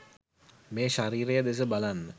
මේ ශරීරය දෙස බලන්න.